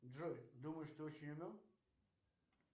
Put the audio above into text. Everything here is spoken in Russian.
джой думаешь ты очень умен